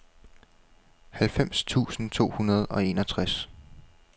halvfems tusind to hundrede og enogtres